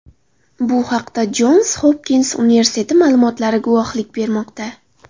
Bu haqda Jons Hopkins universiteti ma’lumotlari guvohlik bermoqda.